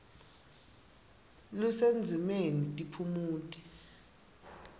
lusendzimeni tiphumuti